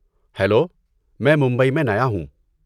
Hello, میں ممبئی میں نیا ہوں۔